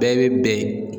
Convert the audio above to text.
Bɛɛ bɛ ben